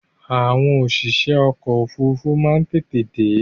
Àwọn òṣìṣẹ́ ọkọ̀ ofúrufú má n tètè dé